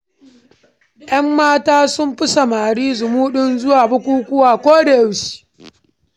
Yan mata sun fi samari zumuɗin zuwa bukukuwa koda yaushe.